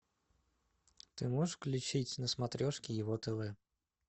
ты можешь включить на смотрешке ево тв